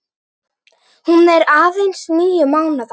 Hún er aðeins níu mánaða.